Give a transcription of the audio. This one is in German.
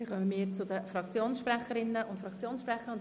Wir kommen zu den Fraktionssprecherinnen und -sprechern.